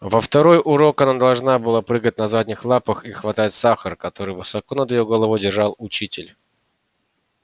во второй урок она должна была прыгать на задних лапах и хватать сахар который высоко над её головой держал учитель